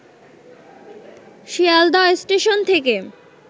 Sealdah station থেকে